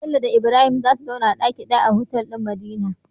Bello da Ibrahim zasu zauna a daki daya a otal din madina